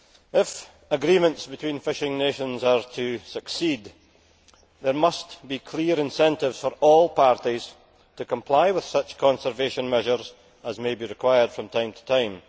If agreements between fishing nations are to succeed, there must be clear incentives for all parties to comply with such conservation measures as may be required from time to time.